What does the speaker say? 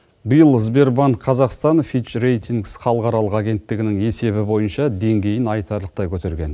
биыл сбербанк қазақстан фечирейтингс халықаралық агенттігінің есебі бойынша деңгейін айтарлықтай көтерген